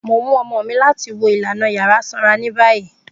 Mo n mu ọmọ mi lati wo ilana ilana yara sanra ni bayi.